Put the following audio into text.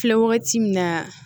Filɛ wagati min na